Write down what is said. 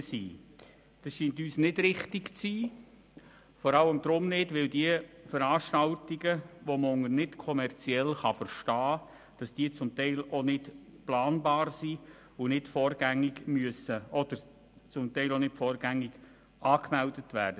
Es scheint uns vor allem deshalb nicht richtig zu sein, weil die Veranstaltungen, die man als nicht kommerziell betrachten kann, zum Teil nicht planbar sind oder nicht vorher angemeldet werden.